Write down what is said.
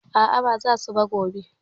A a, ba za su ba gobe.